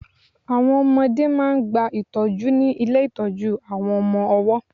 Àwọn ọmọdẹ́ máà ń gba ìtọ́jú ní ilé ìtọ́jú àwọn ọmọ ọwọ́.